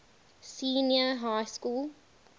senior high school